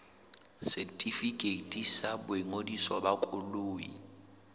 setefikeiti sa boingodiso ba koloi